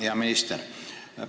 Hea minister!